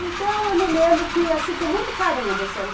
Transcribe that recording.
Então, eu me lembro que, assim, com muito carinho, desse ano